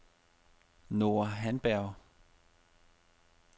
Nora Handberg